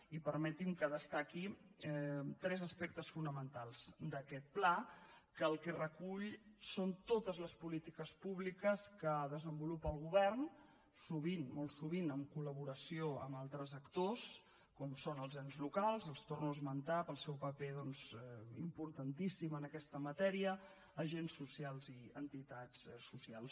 i permetin que destaqui tres aspectes fonamentals d’aquest pla que el que recull són totes les polítiques públiques que desenvolupa el govern sovint molt sovint amb col·laboració amb altres actors com són els ens locals els torno a esmentar pel seu paper doncs importantíssim en aquesta matèria agents socials i entitats socials